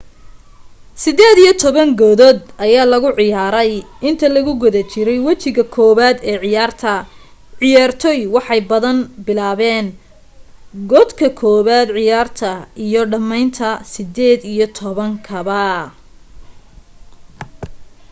sideed iyo toban godad ayaa lagu ciyaarey inta lagu guda jirey wejiga koowaad ee ciyaarta ciyaartoy waxay badan bilaaban godka kobad ciyaarta iyo dhameynta sideed iyo toban kaba